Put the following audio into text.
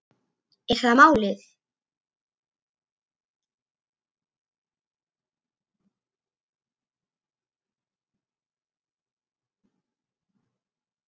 Er það málið?